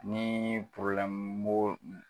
Nii b'o